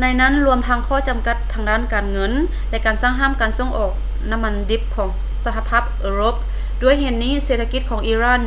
ໃນນັ້ນລວມທັງຂໍ້ຈຳກັດດ້ານການເງິນ ແລະ ການສັ່ງຫ້າມການສົ່ງອອກນ້ຳມັນດິບຂອງສະຫະພາບເອີຣົບ ດ້ວຍເຫດນີ້ ເສດຖະກິດຂອງອີຣານ